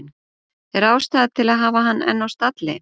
Er ástæða til að hafa hann enn á stalli?